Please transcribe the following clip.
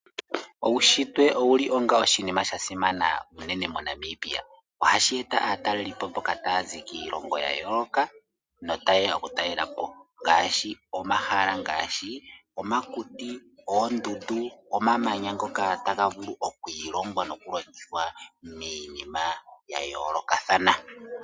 Uushitwe owuli onga oshinima shasimana moNamibia. Ohashi eta aatalelipo mboka taya zi kiilongo yayooloka nota yeya okutalelapo ngaashi omahala goondundu, omakuti nomamanya taga vulu okwiilonga notaga vulu okulongithwa miinima yayoolokathana.